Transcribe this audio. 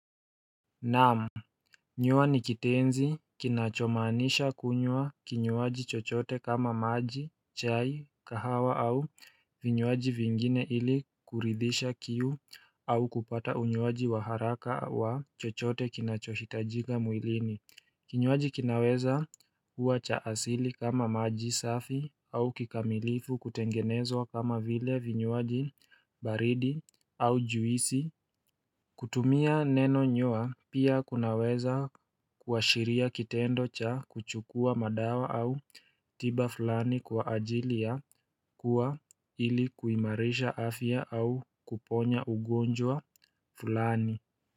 Naam Nywa ni kitenzi kinachomanisha kunywa kinywaji chochote kama maji, chai, kahawa au vinywaji vingine ili kuridhisha kiu au kupata unywaji wa haraka wa chochote kinachohitajika mwilini Kinywaji kinaweza uwa cha asili kama maji safi au kikamilifu kutengenezwa kama vile vinywaji baridi au juisi kutumia neno nywa pia kunaweza kuashiria kitendo cha kuchukua madawa au tiba fulani kwa ajilia kuwa ilikuimarisha afya au kuponya ugonjwa fulani.